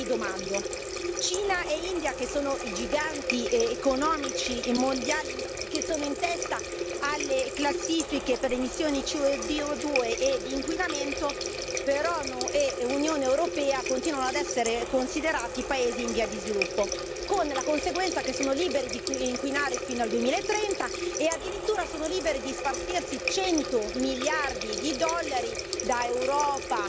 Ma io mi domando, Cina e India, che sono i giganti economici mondiali, che sono in testa alle classifiche per le emissioni CO2 ed inquinamento però nell'Unione europea continuano ad essere considerati paesi in via di sviluppo, con la conseguenza che sono liberi di inquinare fino al 2030 e addirittura sono liberi di spartirsi cento miliardi di dollari da Europa,